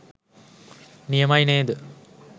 නියමයි නේද?